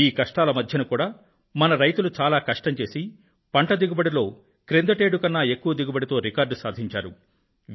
ఈ కష్టాల మధ్య కూడా మన రైతులు చాలా కష్టం చేసి పంట దిగుబడిలో క్రిందటేడు కన్నా ఎక్కువ దిగుబడితో రికార్డ్ సాధించారు